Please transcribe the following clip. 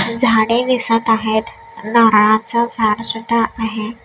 झाडे दिसत आहेत नारळाचं झाड सुद्धा आहे.